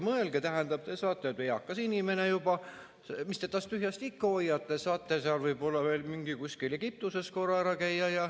Mõelge, te olete eakas inimene juba, mis te tast tühjast ikka hoiate, saate võib-olla veel kuskil Egiptuses korra ära käia.